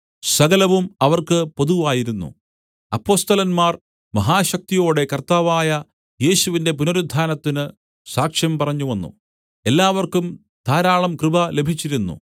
സകലവും അവർക്ക് പൊതുവായിരുന്നു അപ്പൊസ്തലന്മാർ മഹാശക്തിയോടെ കർത്താവായ യേശുവിന്റെ പുനരുത്ഥാനത്തിന് സാക്ഷ്യം പറഞ്ഞുവന്നു എല്ലാവർക്കും ധാരാളം കൃപ ലഭിച്ചിരുന്നു